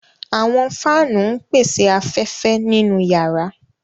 Àwọn fáanu ńpese afẹfẹ ninu yàra.